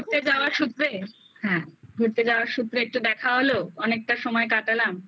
ঘুরতে যাওয়ার ক্ষেত্রে হ্যাঁ ঘুরতে যাওয়ার সূত্রে একটু দেখা হলো অনেকটা সময় কাটালাম